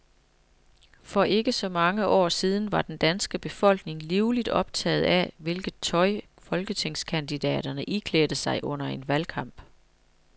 For ikke så mange år siden var den danske befolkning livligt optaget af, hvilket tøj folketingskandidaterne iklædte sig under en valgkamp.